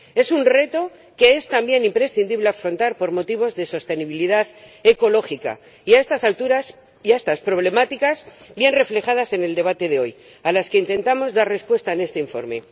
Es un reto que es también imprescindible afrontar por motivos de sostenibilidad ecológica, y a estas alturas y a estas problemáticas, bien reflejadas en el debate de hoy, intentamos dar respuesta en este informe.